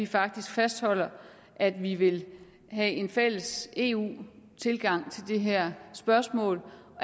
faktisk fastholder at vi vil have en fælles eu tilgang til det her spørgsmål og